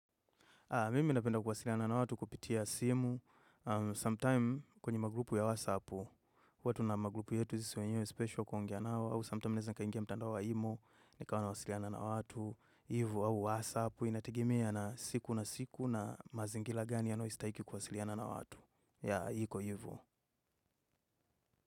Mimi napenda kuwasiliana na watu kupitia simu, Sometime kwenye maglupu ya wasapu, huwa tuna maglupu yetu sisi wenyewe special kuongea nao, au sometime naeza nikaingia mtandao wa imo, nikawa wasiliana na watu, hivo au wasapu, inategemea na siku na siku na mazingila gani yanayohistaiki kuwasiliana na watu, ya iko hivo.